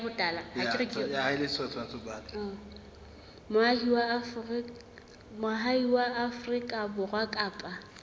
moahi wa afrika borwa kapa